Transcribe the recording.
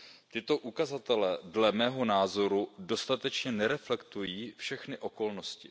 Tyto ukazatele dle mého názoru dostatečně nereflektují všechny okolnosti.